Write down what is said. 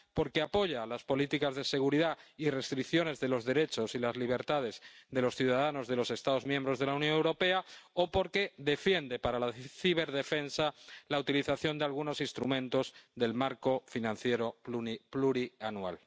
porque apoya las políticas de seguridad y restricciones de los derechos y las libertades de los ciudadanos de los Estados miembros de la Unión Europea, o porque defiende, para la ciberdefensa, la utilización de algunos instrumentos del marco financiero plurianual.